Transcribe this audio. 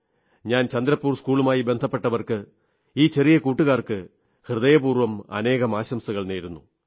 ഞാൻ ചന്ദ്രപൂർ സ്കൂളുമായി ബന്ധപ്പെട്ടവർക്ക് ഈ ചെറിയ കുട്ടുകാർക്ക് ഹൃദയപൂർവ്വം ആനേകം ആശംസകൾ നേരുന്നു